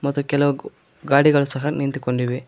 ಮತ್ತೆ ಕೆಳಗ್ ಗಾಡಿಗಳ ಸಹ ನಿಂತುಕೊಂಡಿವೆ.